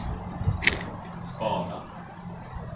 spara